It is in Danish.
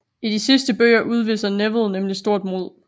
I de sidste bøger udviser Neville nemlig stort mod